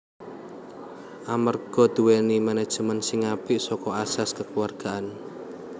Amerga dhuweni menejemen sing apik saka asas kekeluargaan